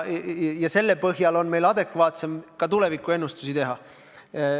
Selle põhjal on meil adekvaatsem ka tulevikuennustusi teha.